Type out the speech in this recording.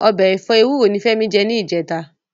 Ọbẹ̀ ẹ̀fọ́ ewúro ni Fẹ́mi jẹ ní ìjẹta